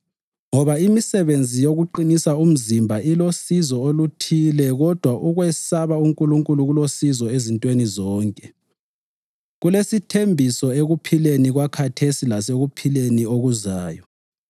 Ngoba imisebenzi yokuqinisa umzimba ilosizo oluthile kodwa ukwesaba uNkulunkulu kulosizo ezintweni zonke, kulesithembiso ekuphileni kwakhathesi lasekuphileni okuzayo.